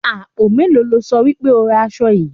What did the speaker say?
Àpò mélòó lo sọ wí pé ó ra aṣọ yìí?